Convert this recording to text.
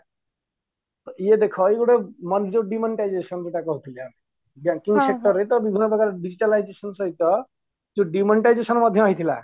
ୟେ ଦେଖ ୟେ ଗୋଟେ ଯୋଉ demonetization କଥା କହୁଥିଲେ banking sector ରେ ତ ବିଭିନ୍ନ ପ୍ରକାର digitalization ସହିତ ଯୋ demonetization ମଧ୍ୟ ହେଇଥିଲା